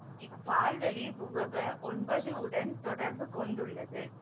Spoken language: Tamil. இப்பால்வெளி புபொப ஒன்பது உடன் தொடர்பு கொண்டுள்ளது